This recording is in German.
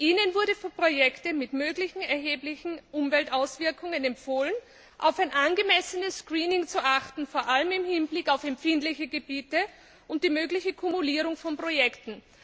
Ihnen wurde für Projekte mit möglichen erheblichen Umweltauswirkungen empfohlen, auf ein angemessenes Screening zu achten, vor allem im Hinblick auf empfindliche Gebiete und die mögliche Kumulierung von Projekten.